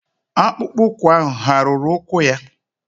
akpụkpọ ụkwụ ahụ hà ruru ụkwụ gị?